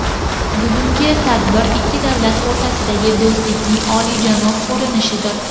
Bugungi tadbir ikki davlat o‘rtasidagi do‘stlikning oliyjanob ko‘rinishidir.